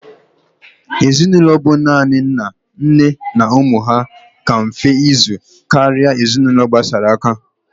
Ezinulo bu nani nna, nne na umu ha ka mfe ịzụ kara ezinulo gbasara aka.